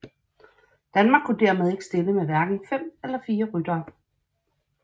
Danmark kunne dermed ikke stille med hverken fem eller fire ryttere